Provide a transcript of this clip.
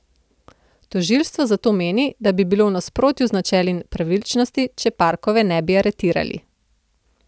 Tožilstvo zato meni, da bi bilo v nasprotju z načeli pravičnosti, če Parkove ne bi aretirali.